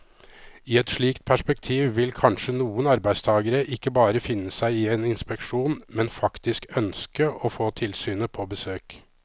I et slikt perspektiv vil kanskje noen arbeidstagere ikke bare finne seg i en inspeksjon, men faktisk ønske å få tilsynet på besøk.